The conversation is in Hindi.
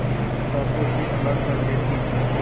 किताबों से अलग कर देती थी